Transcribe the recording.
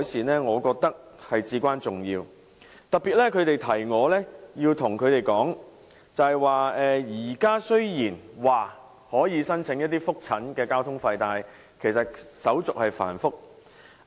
他們提醒我要特別向政府當局指出，現時雖然可以申請覆診的交通津貼，但手續繁複。